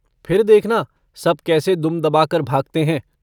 फिर देखना सब कैसे दुम दबाकर भागते हैं।